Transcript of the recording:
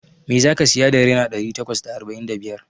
Me zaka siya da naira ɗari takwas da arba'in da biyar?